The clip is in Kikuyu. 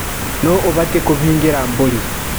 Nũ ũbatie kũhingĩra mbũri.